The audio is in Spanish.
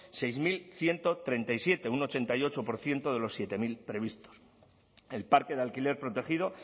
seis mil ciento treinta y siete un ochenta y ocho por ciento de los siete mil previstos el parque de alquiler protegido